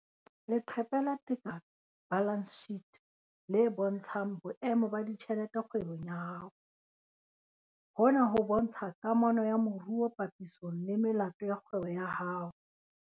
Leqephe la Tekano Balance Sheet le bontshang boemo ba ditjhelete kgwebong ya hao. Hona ho bontsha kamano ya maruo papisong le melato ya kgwebo ya hao.